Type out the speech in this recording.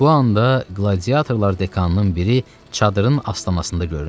Bu anda qladiyator dekanının biri çadırın astanasında göründü.